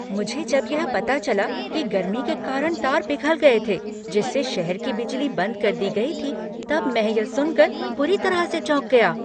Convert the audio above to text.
मुझे जब यह पता चला कि गर्मी के कारण तार पिघल गए थे जिससे शहर की बिजली बंद कर दी गई थी तब मैं यह सुनकर बुरी तरह से चौंक गया।